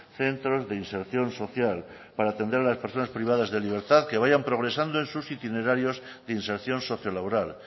centros de inserción social para atender a las personas privadas de libertad que vayan progresando en sus itinerarios de inserción socio laboral